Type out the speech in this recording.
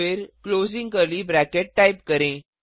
फिर closing curly bracket type करें